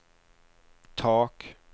tak